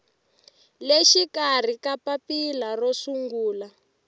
le xikarhi papila ro sungula